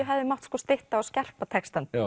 hefði mátt stytta og skerpa textann